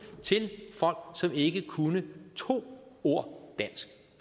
til folk som ikke kunne to ord dansk